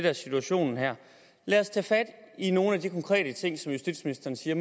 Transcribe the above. er situationen her lad os tage fat i nogle af de konkrete ting som justitsministeren siger